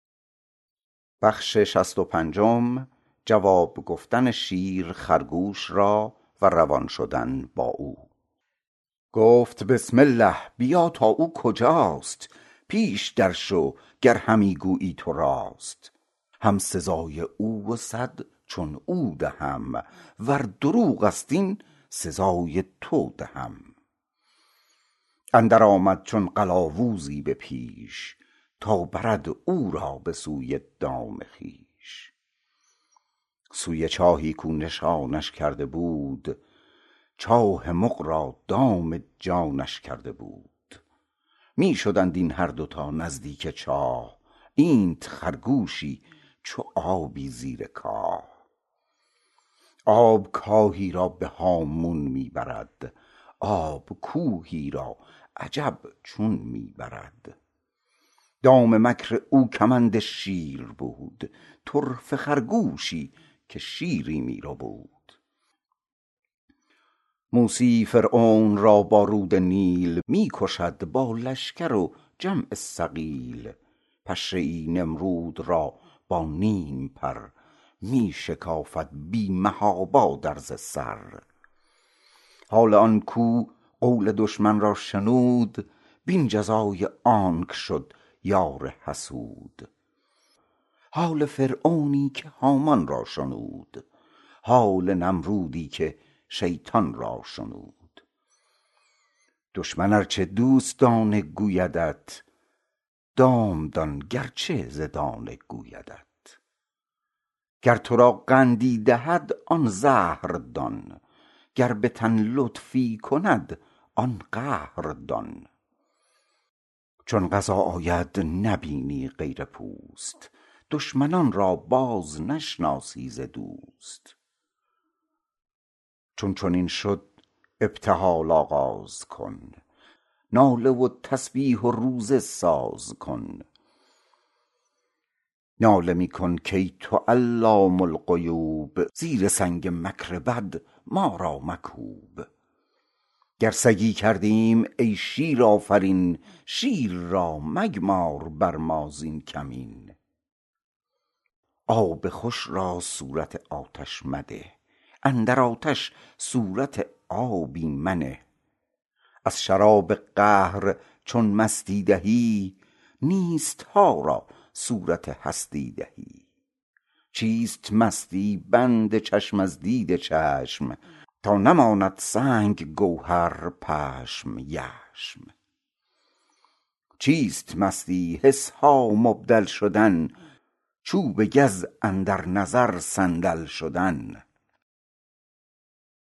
گفت بسم الله بیا تا او کجاست پیش در شو گر همی گویی تو راست تا سزای او و صد چون او دهم ور دروغست این سزای تو دهم اندر آمد چون قلاووزی به پیش تا برد او را به سوی دام خویش سوی چاهی کو نشانش کرده بود چاه مغ را دام جانش کرده بود می شدند این هر دو تا نزدیک چاه اینت خرگوشی چو آبی زیر کاه آب کاهی را به هامون می برد آب کوهی را عجب چون می برد دام مکر او کمند شیر بود طرفه خرگوشی که شیری می ربود موسیی فرعون را با رود نیل می کشد با لشکر و جمع ثقیل پشه ای نمرود را با نیم پر می شکافد بی محابا درز سر حال آن کو قول دشمن را شنود بین جزای آنک شد یار حسود حال فرعونی که هامان را شنود حال نمرودی که شیطان را شنود دشمن ار چه دوستانه گویدت دام دان گرچه ز دانه گویدت گر ترا قندی دهد آن زهر دان گر بتن لطفی کند آن قهر دان چون قضا آید نبینی غیر پوست دشمنان را باز نشناسی ز دوست چون چنین شد ابتهال آغاز کن ناله و تسبیح و روزه ساز کن ناله می کن کای تو علام الغیوب زیر سنگ مکر بد ما را مکوب گر سگی کردیم ای شیرآفرین شیر را مگمار بر ما زین کمین آب خوش را صورت آتش مده اندر آتش صورت آبی منه از شراب قهر چون مستی دهی نیستها را صورت هستی دهی چیست مستی بند چشم از دید چشم تا نماید سنگ گوهر پشم یشم چیست مستی حسها مبدل شدن چوب گز اندر نظر صندل شدن